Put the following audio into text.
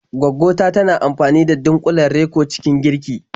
Gwaggo ta tana amfani da dunƙulen Reko cikin girki.